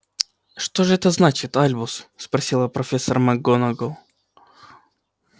что же это значит альбус спросила профессор макгонагалл